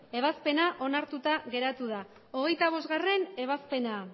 ebazpena onartuta geratu da hogeita bostgarrena ebazpena